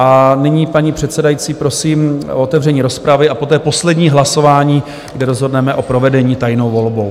A nyní, paní předsedající, prosím o otevření rozpravy a poté poslední hlasování, kde rozhodneme o provedení tajnou volbou.